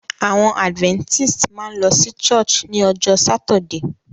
Àwon adventist máa n lo sí church ni ojó Saturday